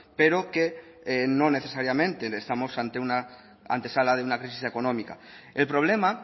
pero que no necesariamente estamos ante una antesala de una crisis económica el problema